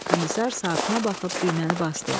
Komissar saatına baxıb düyməni basdı.